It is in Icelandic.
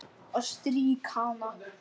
Og strýk hana.